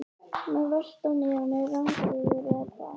Með vörtu á nefinu, rangeygur, eða hvað?